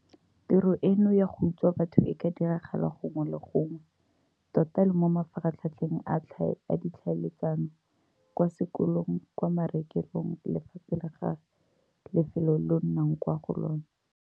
Tiro eno ya go utswa batho e ka diragala gongwe le gongwe tota le mo mafaratlhatlheng a ditlhaeletsano, kwa sekolong, kwa marekelong le fa pele ga lefelo leo o nnang kwa go lona.